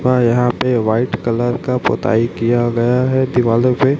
हाँ यहाँ पे व्हाइट कलर का पुताई किया गया है दीवालों पे --